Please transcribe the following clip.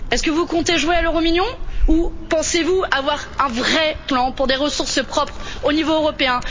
Est ce que vous comptez jouer à l'Euromillions ou pensez vous avoir un vrai plan pour des ressources propres au niveau européen?